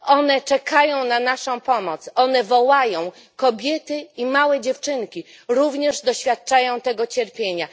One czekają na naszą pomoc, one wołają kobiety i małe dziewczynki, które również doświadczają tego cierpienia.